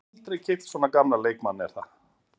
Ég hef aldrei keypt svona gamlan leikmann er það?